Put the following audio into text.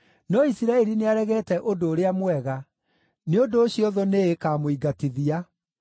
No Isiraeli nĩaregete ũndũ ũrĩa mwega; nĩ ũndũ ũcio thũ nĩĩkamũingatithia.